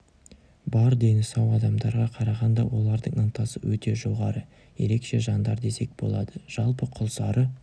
бар дені сау адамдарға қарағанда олардың ынтасы өте жоғары ерекше жандар десек болады жалпы құлсары